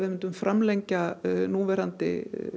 framlengja núverandi